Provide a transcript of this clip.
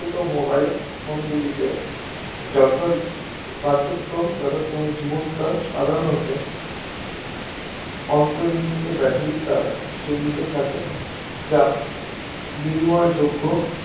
mobile phone গুলিতে যথা কার্যক্রম যথাক্রমে জীবনকাল সাধারনত অন্তনিমিত Battery ধারা সীমিত থাকে যা বিনিময়যোগ্য